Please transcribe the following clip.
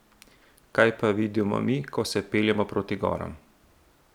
Kaj pa vidimo mi, ko se peljemo proti goram?